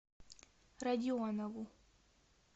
родионову